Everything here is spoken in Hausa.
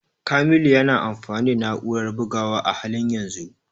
Kamilu yana amfani da na'urar bugawa a halin yanzu.